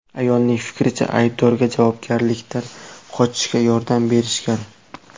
Ayolning fikricha, aybdorga javobgarlikdan qochishga yordam berishgan.